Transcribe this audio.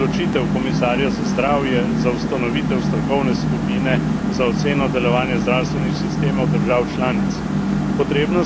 Pozdravljam odločitev komisarja za zdravje za ustanovitev strokovne skupine za oceno delovanja zdravstvenih sistemov držav članic.